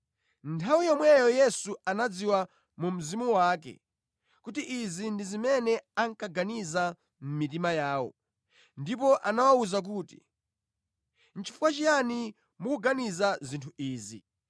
Nthawi yomweyo Yesu anadziwa mu mzimu wake kuti izi ndi zimene ankaganiza mʼmitima yawo, ndipo anawawuza kuti, “Chifukwa chiyani mukuganiza zinthu izi?